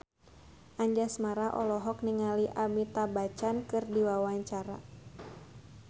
Anjasmara olohok ningali Amitabh Bachchan keur diwawancara